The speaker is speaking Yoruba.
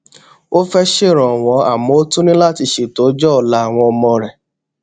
ó fé ṣèrànwó àmó ó tún ní láti ṣeto ọjó òla àwọn ọmọ rè